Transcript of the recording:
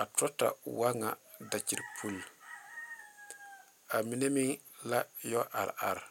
a turetaa wa ŋa kate uro a mine meŋ a yɔ are are.